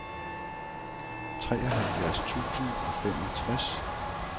treoghalvfjerds tusind og femogtres